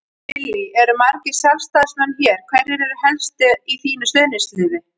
Lillý: Eru margir Sjálfstæðismenn hér, hverjir eru helst í þínu stuðningsliði?